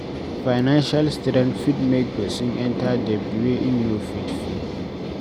Financial strain fit make person enter debt wey im no fit pay